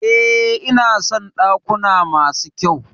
E, ina son dakuna masu kyau.